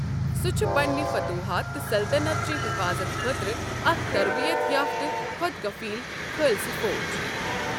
سُہ چھُ پنٕنۍ فتوحات تہٕ سلطنت چہِ حِفاظت خٲطرٕ اکھ تربیت یافتہٕ، خۅد کفیل خالصہ فوج۔